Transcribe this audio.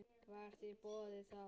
Var þér boðið það?